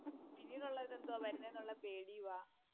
പിന്നീടു ഉള്ളേ എന്താ വരുന്നേ എന്ന് പേടിയുവാ.